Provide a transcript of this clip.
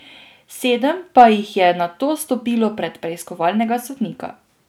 Sedem pa jih je nato stopilo pred preiskovalnega sodnika.